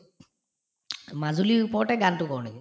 মাজুলীৰ ওপৰতে গানতো কৰো নেকি ?